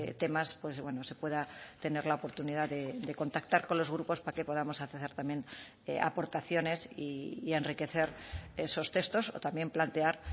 temas pues bueno se pueda tener la oportunidad de contactar con los grupos para que podamos hacer también aportaciones y enriquecer esos textos o también plantear